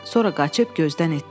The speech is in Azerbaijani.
Sonra qaçıb gözdən itdi.